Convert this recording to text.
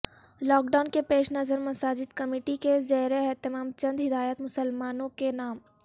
lock down کے پیش نظر مساجد کمیٹی کے زیراہتمام چندہدایات مسلمانوں کے نام